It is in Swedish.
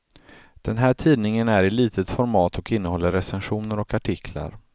Den här tidningen är i litet format och innehåller recensioner och artiklar.